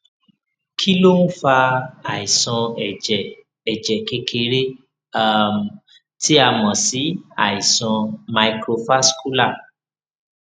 kí ló ń fa àìsàn ẹjẹ ẹjẹ kékeré um tí a mọ sí àìsàn microvascular